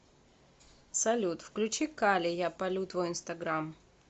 салют включи кали я палю твой инстаграм